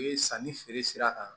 Sanni feere sira kan